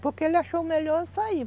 Porque ele achou melhor sair.